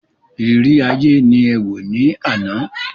Ìrírí ayé ni ẹ wò ní àná.